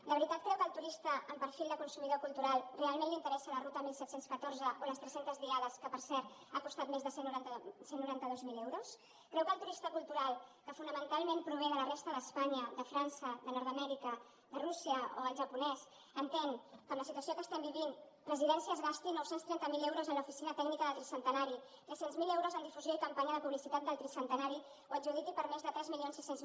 de veritat creu que al turista amb perfil de consumidor cultural realment li interessa la ruta disset deu quatre o les trescentes diades que per cert ha costat més de cent i noranta dos mil euros creu que el turista cultural que fonamentalment prové de la resta d’espanya de frança de nordamèrica de rússia o el japonès entén que amb la situació que estem vivint presidència es gasti nou cents i trenta miler euros en l’oficina tècnica del tricentenari tres cents miler euros en difusió i companya de publicitat del tricentenari o adjudiqui per més de tres mil sis cents